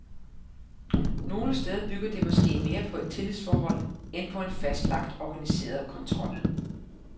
Nogle steder bygger det måske mere på et tillidsforhold end på en fastlagt organiseret kontrol.